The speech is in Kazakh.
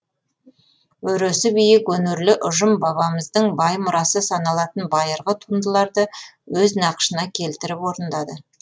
өресі биік өнерлі ұжым бабамыздың бай мұрасы саналатын байырғы туындыларды өз нақышына келтіріп орындады